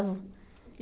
Estavam.